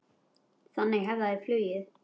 Þannig hefja þau flugið.